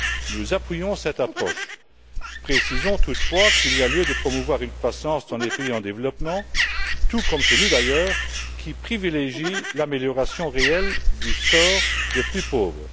Nous appuyons cette approche. Précisons toutefois qu'il y a lieu de promouvoir une croissance dans les pays en développement, tout comme chez nous d'ailleurs, qui privilégie l'amélioration réelle du sort des plus pauvres.